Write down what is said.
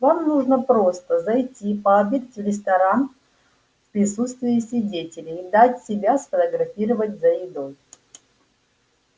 вам нужно просто зайти пообедать в ресторан в присутствии свидетелей и дать себя сфотографировать за едой